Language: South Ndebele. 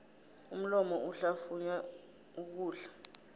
umlomo uhlafunya ukudla